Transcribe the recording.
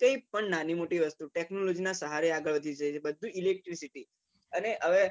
કઈ પણ નાની મોટી વસ્તુ technology ના સહારે આગળ વધી બધું electricity અને હવે